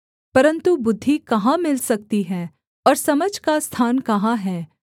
परन्तु बुद्धि कहाँ मिल सकती है और समझ का स्थान कहाँ है